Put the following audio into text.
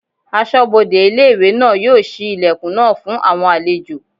Asọ́bodè ilé-ìwé náà yóò ṣí ilẹ̀kùn náà fún àwọn àlejò